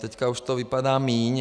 Teď už to vypadá míň.